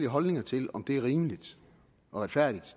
holdninger til om det er rimeligt og retfærdigt